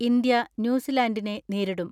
India ന്യൂസിലാന്റിനെ നേരിടും.